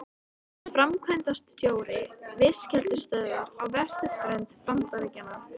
Hann er framkvæmdastjóri fiskeldisstöðvar á vesturströnd Bandaríkjanna.